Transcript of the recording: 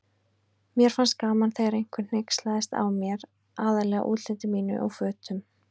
Mér fannst gaman þegar einhver hneykslaðist á mér, aðallega útliti mínu og fötum.